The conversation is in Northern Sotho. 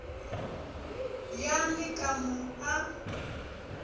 ya le ka mo a